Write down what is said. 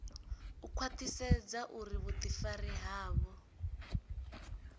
u khwaṱhisedza uri vhuḓifari havho